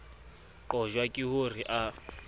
qojwa ke ho re a